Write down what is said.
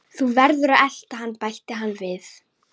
Þú verður að elta hann bætti hann við.